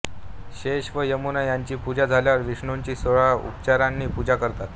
शेष व यमुना यांची पूजा झाल्यावर विष्णूची सोळा उपचारांनी पूजा करतात